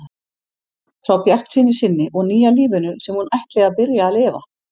Frá bjartsýni sinni og nýja lífinu sem hún ætli að byrja að lifa.